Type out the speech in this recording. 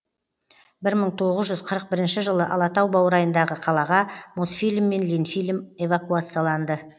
бір мың тоғыз жүз қырық бірінші жылы алатау баурайындағы қалаға мосфильм мен ленфильм эвакуацияланды